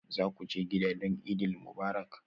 Za ku je gida don Eid Mubarak?